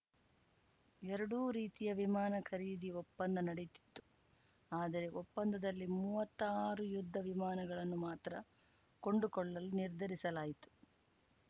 ಎರಡೂ ರೀತಿಯ ವಿಮಾನ ಖರೀದಿ ಒಪ್ಪಂದ ನಡೆದಿತ್ತು ಆದರೆ ಒಪ್ಪಂದದಲ್ಲಿ ಮೂವತ್ತಾರು ಯುದ್ಧವಿಮಾನಗಳನ್ನು ಮಾತ್ರ ಕೊಂಡುಕೊಳ್ಳಲು ನಿರ್ಧರಿಸಲಾಯಿತು